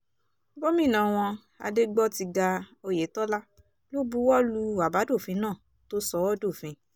gómìnà wọn adégbòtiga oyetola ló buwọ́ lu àbádòfin náà tó sọ ọ́ dófin